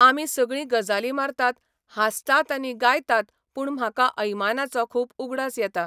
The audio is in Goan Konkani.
आमी सगळी गजाली मारतात, हांसतात आनी गायतात पूण म्हाका ऐमानाचो खूब उगडास येता.